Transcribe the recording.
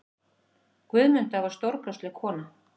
Guðmunda var stórkostleg kona.